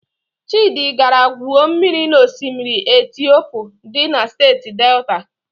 Chịdị gara gwuo mmiri na osimiri Etiopu dị na Steeti Delta.